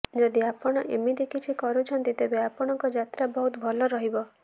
ଯଦି ଆପଣ ଏମିତି କିଛି କରୁଛନ୍ତି ତେବେ ଆପଣଙ୍କ ଯାତ୍ରା ବହୁତ ଭଲ ରହିବ